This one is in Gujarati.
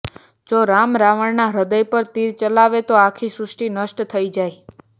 જો રામ રાવણના હ્રદય પર તીર ચલાવે તો આખી સૃષ્ટિ નષ્ટ થઈ જાય